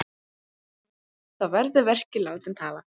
Þá verði verkin látin tala.